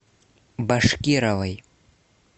башкировой